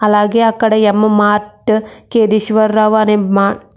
అలాగే అక్కడ M mart Kedeswararao అనే మార్ట్ --